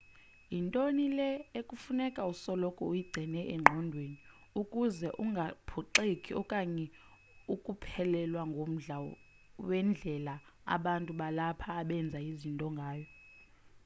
yinto le ekufuneka usoloko uyigcine engqondweni ukuze ungaphoxeki okanye ukuphelelwa ngumdla wendlela abantu balapha abenza izinto ngayo